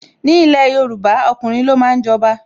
Ni ilẹ̀ Yorùbá, ọkùnrin lo máa ń jọba.